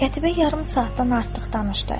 Qətibə yarım saatdan artıq danışdı.